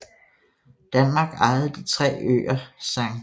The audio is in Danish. Danmark ejede de tre øer St